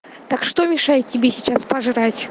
так что мешает тебе сейчас пожрать